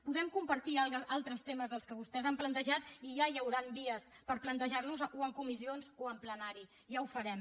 podem compartir altres temes que vostès han plantejat i ja hi hauran vies per plantejar los o en comissions o en plenari ja ho farem